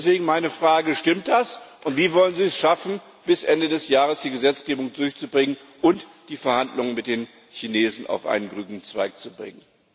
Deswegen meine Frage Stimmt das? Und wie wollen Sie es schaffen, die Gesetzgebung bis Ende des Jahres durchzubringen und die Verhandlungen mit den Chinesen auf einen grünen Zweig zu bringen?